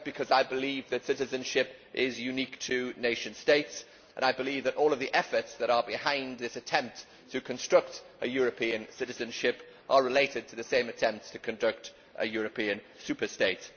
I believe that citizenship is unique to nation states, and I believe that all of the efforts that are behind this attempt to construct a European citizenship are related to the same attempts to conduct a European superstate.